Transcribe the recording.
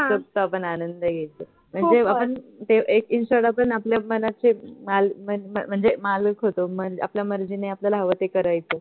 मनसोक्त आपण आनंद घ्यायचो म्हणजे आपण ते एक आपण आपल्या मनाचे माल माल म्हणजे मालक होतो आपल्या मर्जीने आपल्याला हव ते करायचो